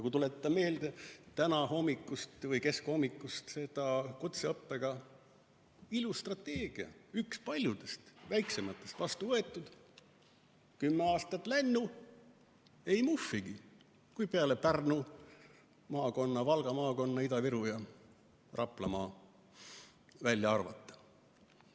Kui tuletan meelde tänahommikust kutseõppe strateegiat, üht paljudest väikestest, mis on vastu võetud, siis kümme aastat on lännu, aga ei muhvigi, kui Pärnu maakond, Valga maakond, Ida-Virumaa ja Raplamaa välja arvata.